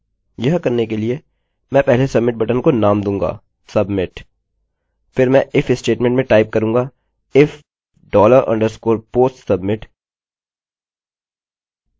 फिर मैं if statement में टाइप करूँगा if dollar underscore post submit